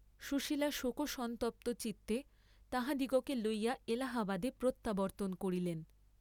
সুশীলা শোকসন্তপ্ত চিত্তে তাহাদিগকে লইয়া এলাহাবাদে প্রত্যাবর্ত্তন করিলেন।